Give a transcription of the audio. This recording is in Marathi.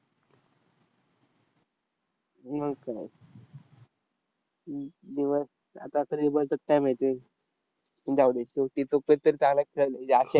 मग काय? म दिवस आतातरी काय माहिती? जाऊदे, शेवटी तो कधीतरी चांगला खेळेल, या